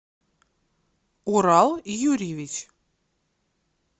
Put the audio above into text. урал юрьевич